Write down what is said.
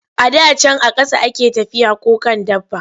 A da can a ƙasa a ke tafiya ko kan dabba.